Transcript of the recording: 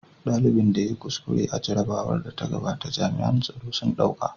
Dalibin da ya yi kuskure a jarrabawar da ta gabata jami'an tsaro sun ɗauka.